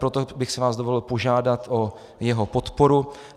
Proto bych si vás dovolil požádat o jeho podporu.